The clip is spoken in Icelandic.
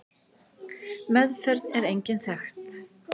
Meðferð er engin þekkt.